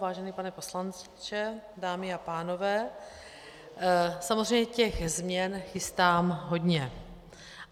Vážený pane poslanče, dámy a pánové, samozřejmě těch změn chystám hodně.